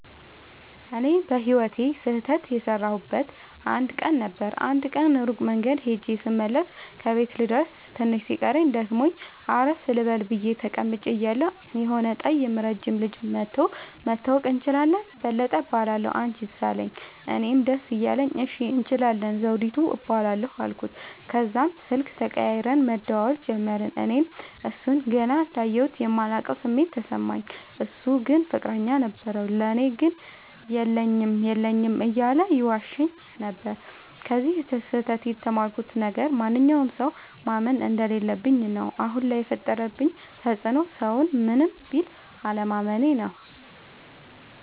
እኔ በህይወቴ ስህተት የሠረውበት አንድ ቀን ነበር። አንድ ቀን ሩቅ መንገድ ኸጀ ስመለስ ከቤቴ ልደርስ ትንሽ ሲቀረኝ ደክሞኝ አረፍ ልበል ብየ ተቀምጨ እያለሁ የሆነ ጠይም ረጅም ልጅ መኧቶ<< መተዋወቅ እንችላለን በለጠ እባላለሁ አንችስ አለኝ>> አለኝ። እኔም ደስ እያለኝ እሺ እንችላለን ዘዉዲቱ እባላለሁ አልኩት። ተዛም ስልክ ተቀያይረን መደዋወል ጀመርን። እኔ እሡን ገና እንዳየሁት የማላቀዉ ስሜት ተሰማኝ። እሡ ግን ፍቅረኛ ነበረዉ። ለኔ ግን የለኝም የለኝም እያለ ይዋሸኝ ነበር። ከዚ ስህተ ት የተማርኩት ነገር ማንኛዉንም ሠዉ ማመን እንደለለብኝ ነዉ። አሁን ላይ የፈጠረብኝ ተፅዕኖ ሠዉን ምንም ቢል አለማመኔ ነዉ።